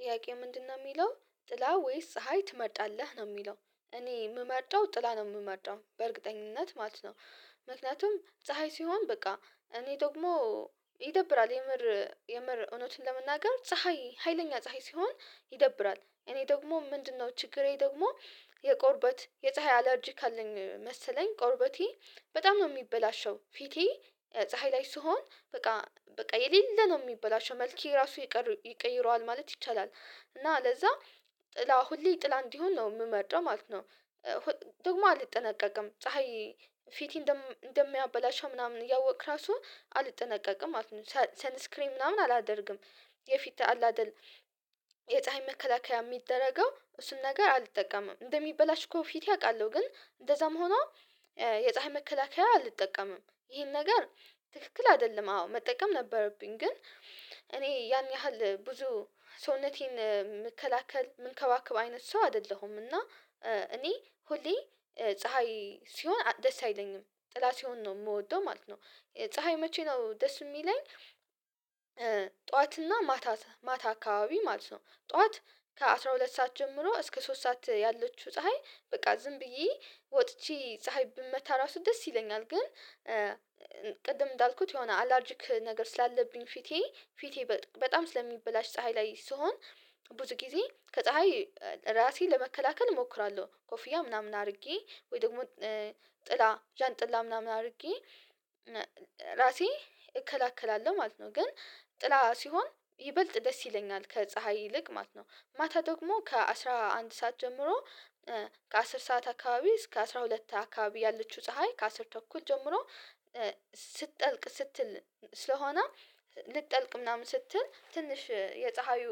ጥያቄ ምንድነው? የሚለው ጥላ ወይስ ፀሀይ ትመርጣለህ ነው የሚለው እኔ የምመርጠው ጥላ ነው የምመርጣው በእርግጠኝነት ማለት ነው። ምክንያቱም ፀሀይ ሲሆን በቃ እኔ ደግሞ ይደብራል የምር የምር እውነቱን ለመናገር ፀሀይ ሀይለኛ ፀሀይ ሲሆን ይደብራል። እኔ ደግሞ ምንድነው ችግሬ ደግሞ የቆርበት የፀሀይ አላርጂክ አለኝ መሰለኝ ቆርበቴ በጣም ነው የሚበላሸው ፊቴ ፀሀይ ላይ ስሆን በቃ በቃ የሌለ ነው የሚበላሸው መልኬ ራሱ ይቀይረዋል ማለት ይቻላል። እና ለዛ ጥላ ሁሌ ጥላ እንዲሆን ነው የምመርጠው ማለት ነው። ደግሞ አልጠነቀቅም ፀሀይ ፊቴ እንደሚያበላሽ ምናምን እያወቅክ ራሱ አልጠነቀቅም ማለት ነው። ሰንስክሪንግ ምናምን አላደርግም። የፊት አላደርግም የፀሀይ መከላከያ የሚደረገው እሱን ነገር አልጠቀምም እንደሚበላሽ እኮ ፊቴ አውቃለሁ። ግን እንደዛም ሆኖ የፀሀይ መከላከያ አልጠቀምም። ይሄን ነገር ትክክል አይደለም አዎ መጠቀም ነበረብኝ ግን እኔ ያን ያህል ብዙ ሰውነቴን መከላከል ምንከባከብ አይነት ሰው አይደለሁም። እና እኔ ሁሌ ፀሀይ ሲሆን ደስ አይለኝም ጥላ ሲሆን ነው የምወደው ማለት ነው። ፀሀይ መቼ ነው ደስ የሚለኝ? ጠዋት እና ማታ ማታ አካባቢ ማለት ነው። ጠዋት ከአሥራ ሁለት ሰዓት ጀምሮ እስከ ሶስት ሰዓት ያለችው ፀሀይ በቃ ዝም ብዬ ወጥቼ ፀሀይ ብመታ ራሱ ደስ ይለኛል። ግን ቅድም እንዳልኩት የሆነ አላርጅክ ነገር ስላለብኝ ፊቴ ፊቴ በጣም ስለሚበላሽ ፀሀይ ላይ ስሆን። ብዙ ጊዜ ከፀሀይ ራሴን ለመከላከል እሞክራለሁ ኮፍያ ምናምን አድርጌ ወይ ደግሞ ጥላ ጃንጥላ ምናምን አድርጌ ራሴ እከላከላለሁ ማለት ነው። ግን ጥላ ሲሆን ይበልጥ ደስ ይለኛል ከፀሀይ ይልቅ ማለት ነው። ማታ ደግሞ ከአሥራ አንድ ሰዓት ጀምሮ ከአስር ሰዓት አካባቢ እስከ አስራ ሁለት አካባቢ ያለችው ፀሀይ ከአስር ተኩል ጀምሮ ስትጠልቅ ስትል ስለሆነ ልትጠልቅ ምናምን ስትል ትንሽ የፀሀዩ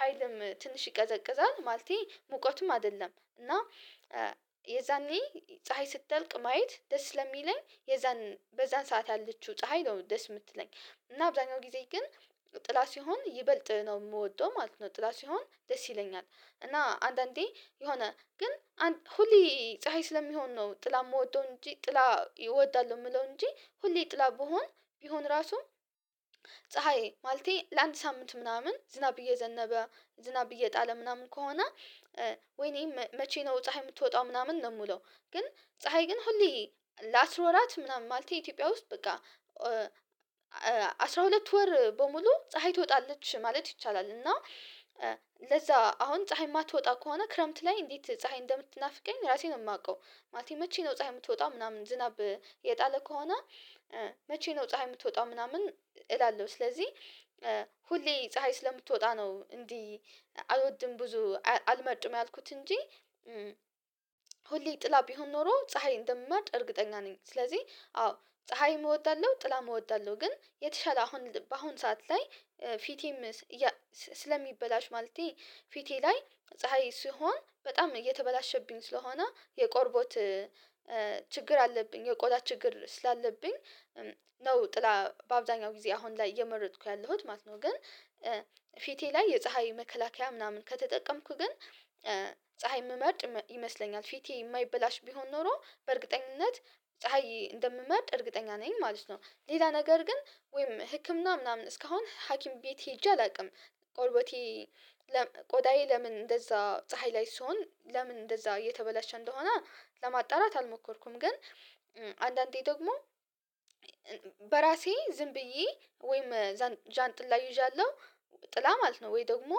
ሀይልም ትንሽ ይቀዘቅዛል። ማለቴ ሙቀቱም አይደለም እና የዛኔ ፀሀይ ስጠልቅ ማየት ደስ ስለሚለኝ የዛን በዛን ሰዓት ያለችው ፀሀይ ነው ደስ የምትለኝ። እና አብዛኛው ጊዜ ግን ጥላ ሲሆን ይበልጥ ነው የምወደው ማለት ነው። ጥላ ሲሆን ደስ ይለኛል። እና አንዳንዴ የሆነ ግን ሁሌ ፀሀይ ስለሚሆን ነው ጥላ የምወደው እንጂ ጥላ እወዳለሁ የምለው እንጂ ሁሌ ጥላ ቢሆን ቢሆን ራሱም ፀሀዬ ማለቴ ለአንድ ሳምንት ምናምን ዝናብ እየዘነበ ዝናብ እየጣለ ምናምን ከሆነ ወይኔም መቼ ነው ፀሀይ የምትወጣው ምናምን ነው የምለው። ግን ፀሀይ ግን ሁሌ ለአስር ወራት ምናምን ማለት ኢትዮጵያ ውስጥ በቃ አስራ ሁለት ወር በሙሉ ፀሀይ ትወጣለች ማለት ይቻላል። እና ለዛ አሁን ፀሀይ የማትወጣ ከሆነ ክረምት ላይ እንዴት ፀሀይ እንደምትናፍቀኝ ራሴን ነው የማውቀው። ማለቴ መቼ ነው ፀሀይ የምትወጣ ምናምን ዝናብ የጣለ ከሆነ። መቼ ነው ፀሀይ የምትወጣው ምናምን እላለሁ። ስለዚህ ሁሌ ፀሀይ ስለምትወጣ ነው እንዴ አልወድም ብዙ አልመርጥም ያልኩት እንጂ። ሁሌ ጥላ ቢሆን ኖሮ ፀሀይ እንደምመርጥ እርግጠኛ ነኝ ስለዚህ አዎ ፀሀይን እወዳለሁ ጥላን እወዳለሁ ግን የተሻለ አሁን በአሁን ሰዓት ላይ። ፊቴም ስለሚበላሽ ማለቴ ፊቴ ላይ ፀሀይ ሲሆን በጣም እየተበላሸብኝ ስለሆነ የቆርቦት ችግር አለብኝ የቆዳ ችግር ስላለብኝ። ነው ጥላ በአብዛኛው ጊዜ አሁን ላይ እየመረጥኩ ያለሁት ማለት ነው። ግን ፊቴ ላይ የፀሀይ መከላከያ ምናምን ከተጠቀምኩ ግን ፀሀይ የምመርጥ ይመስለኛል። ፊቴ የማይበላሽ ቢሆን ኖሮ በእርግጠኝነት ፀሀይ እንደምመርጥ እርግጠኛ ነኝ ማለት ነው። ሌላ ነገር ግን ወይም ህክምና ምናምን እስካሁን ሀኪም ቤት ሄጄ አላውቅም። ቆርቦቴ ቆዳዬ ለምን እንደዛ ፀሀይ ላይ ሲሆን ለምን እንደዛ እየተበላሸ እንደሆነ ለማጣራት አልሞከርኩም። ግን አንዳንዴ ደግሞ በራሴ ዝም ብዬ ወይም ዣንጥላ ይዣለሁ ጥላ ማለት ነው ወይ ደግሞ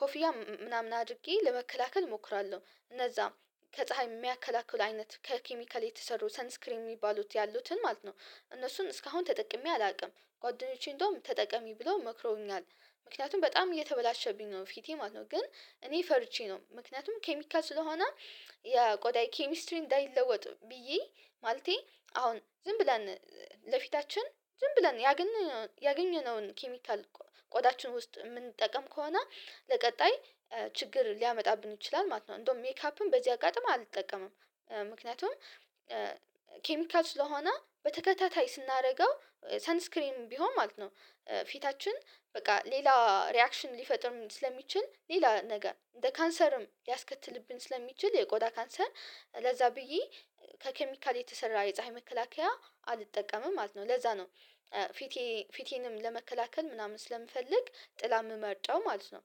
ኮፊያ ምናምን አድርጌ ለመከላከል እሞክራለሁ። እነዛ ከፀሀይ የሚያከላክሉ አይነት ከኬሚካል የተሰሩ ሰንስክሪንግ የሚባሉት ያሉትን ማለት ነው። እነሱን እስካሁን ተጠቅሜ አላውቅም ጓደኞቼ እንደውም ተጠቀሚ ብሎ መክሮኛል። ምክንያቱም በጣም እየተበላሸብኝ ነው ፊቴ ማለት ነው። ግን እኔ ፈርቼ ነው ምክንያቱም ኬሚካል ስለሆነ። የቆዳ ኬሚስትሪንግ እንዳይለወጥ ብዬ ማለቴ አሁን ዝም ብለን ለፊታችን ዝም ብለን ያገኘነውን ኬሚካል ቆዳችን ውስጥ የምንጠቀም ከሆነ ለቀጣይ ችግር ሊያመጣብን ይችላል ማለት ነው። እንደውም ሜካፕን በዚህ አጋጣሚ አልጠቀምም። ምክንያቱም ኬሚካል ስለሆነ በተከታታይ ስናደርገው ሳንስክሪም ቢሆን ማለት ነው ፊታችን በቃ ሌላ ሪአክሽን ሊፈጥርም ስለሚችል ሌላ ነገር እንደ ካንሰርም ያስከትልብን ስለሚችል የቆጣ ካንሰር ለዛ ብዬ ከኬሚካል የተሰራ የፀሀይ መከላከያ አልጠቀምም ማለት ነው። ለዛ ነው። ፊቴ ፊቴንም ለመከላከል ምናምን ስለምፈልግ ጥላ የምመርጠው ማለት ነው